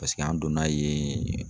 Paseke an donn'a yennn